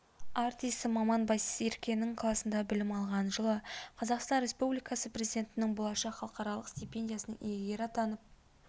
артисі маман байсеркенің классында білім алған жылы қазақстан республикасы президентінің болашақ халықаралық степендиясының иегері атанып